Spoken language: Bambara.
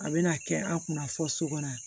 A bɛna kɛ an kunna fɔ so kɔnɔ